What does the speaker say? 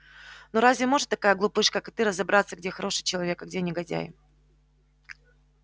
ну разве может такая глупышка как ты разобраться где хороший человек а где негодяй